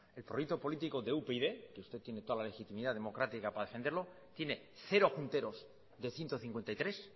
el proyecto político de upyd que usted tiene toda la legitimidad democrática para defenderlo tiene cero junteros de ciento cincuenta y tres